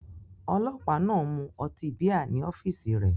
Ọlọ́pàá náà ń mu ọtí bíà ní ọ́fíìsì rẹ̀.